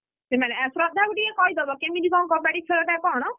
ସେମାନେ ଶ୍ରଦ୍ଧା କୁ ଟିକେ କହିଦବ କେମିତି କଣ କବାଡି ଖେଳଟା କଣ।